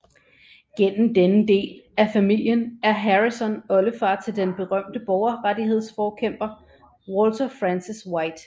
Gennem denne del af familien er Harrison oldefar til den berømte borgerrettighedsforkæmper Walter Francis White